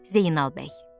Zeynal bəy.